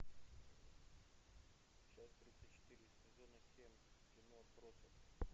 часть тридцать четыре сезона семь кино отбросы